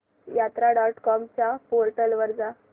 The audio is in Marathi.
यात्रा डॉट कॉम च्या पोर्टल वर जा